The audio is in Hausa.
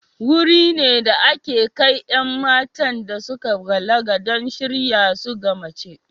Wuri ne da ake kai 'yan matan da suka balaga don shirya su ga mace.